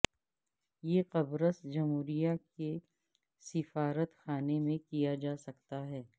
یہ قبرص جمہوریہ کے سفارت خانے میں کیا جا سکتا ہے